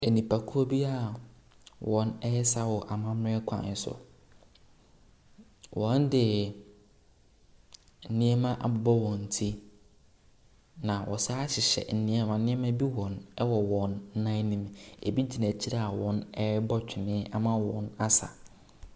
Nnipakuo bi a wɔresa wɔ amammerɛ kwan so. Wɔde nneɛma abobɔ wɔn ti, na wɔsan hyehyɛ nneɛma bi wɔ wɔn nan no mu. Ebi gyina akyire a wɔrebɔ wene ama wɔasa.